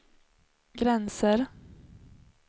gränser